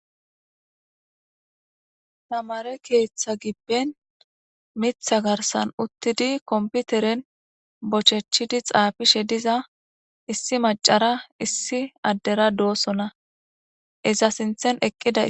Tamare keeththa gibben mitha garsan uttidi komputeren bochechidi xaafishe diza issi macara issi addera do'ossona iza sinthen eqqida